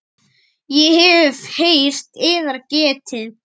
Ég hef heyrt yðar getið.